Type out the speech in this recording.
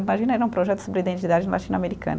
Imagina, era um projeto sobre identidade latino-americana.